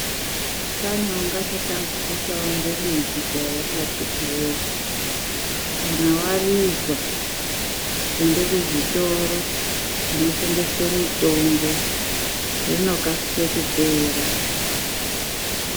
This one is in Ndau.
Pane wanga asati ambodzita ngebimbidzo ere akiti woye kana warizwa ende kuzviroro zvinotengeswe mutombo rinokasike kupera.